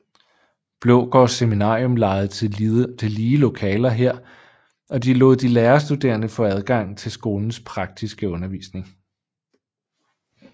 Blågårds Seminarium lejede tillige lokaler her og lod de lærerstuderende få adgang til skolens praktiske undervisning